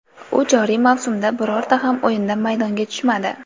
U joriy mavsumda birorta ham o‘yinda maydonga tushmadi.